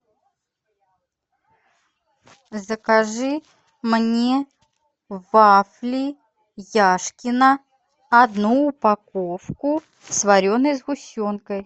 закажи мне вафли яшкино одну упаковку с вареной сгущенкой